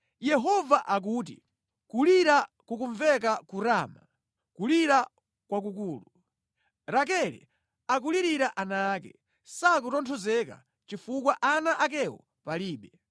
Yehova akuti, “Kulira kukumveka ku Rama, kulira kwakukulu, Rakele akulirira ana ake. Sakutonthozeka chifukwa ana akewo palibe.”